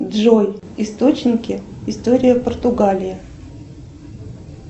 джой источники история португалии